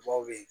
Dɔw bɛ yen